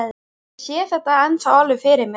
Ég sé þetta ennþá alveg fyrir mér.